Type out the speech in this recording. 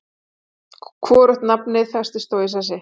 Hvorugt nafnið festist þó í sessi.